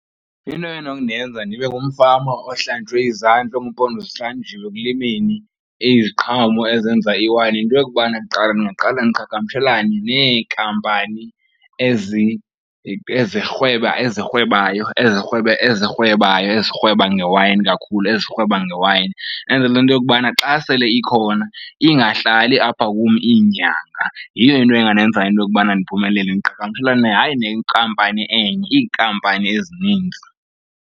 Into enokundenza ndibe ngumfama ohlanjwe izandla ongumpondo zihlanjiwe ekulimeni iziqhamo ezenza iwayini, yinto yokubana kuqala ndingaqala ndiqhagamshelane neenkampani ezirhweba, ezirhwebayo, ezirhweba, ezirhwebayo ezirhweba, ngewayini kakhulu, ezirhweba ngewayini, enzele into yokubana xa sele ikhona ingahlali apha kum iinyanga. Yiyo into engandenza into yokubana ndiphumelele, ndiqhagamshelane hayi nenkampani enye, iinkampani ezininzi.